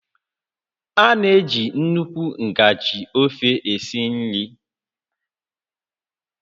A na-eji nnukwu ngaji ofe esi nri